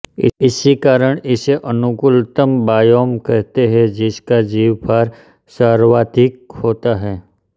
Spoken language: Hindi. इसी कारण इसे अनुकूलतम बायोम कहते हैं जिसका जीवभार सर्वाधिक होता है